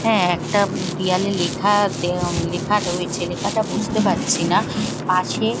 হ্যাঁ একটা দেওয়ালে লেখা দে লেখা রয়েছে লেখাটা বুঝতে পারছি না পাশে --